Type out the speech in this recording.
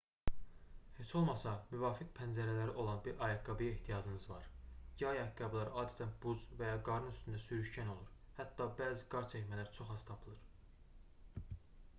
heç olmasa müvafiq pəncələri olan bir ayaqqabıya ehtiyacınız var yay ayaqqabıları adətən buz və ya qarın üstündə sürüşkən olur hətta bəzi qar çəkmələr çox az tapılır